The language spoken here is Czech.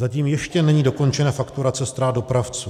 Zatím ještě není dokončena fakturace ztrát dopravců.